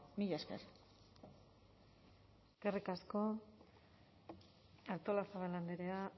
mila esker eskerrik asko artolazabal andrea